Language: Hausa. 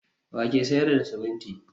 wa ke sayar da siminti?